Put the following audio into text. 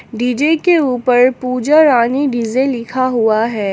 DJ के ऊपर Puja Rani DJ लिखा हुआ है।